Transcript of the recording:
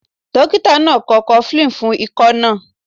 Dókítà náà kọ Cofflin fún ikọ́ náà.